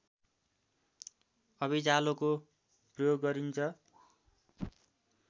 अभिजालोको प्रयोग गरिन्छ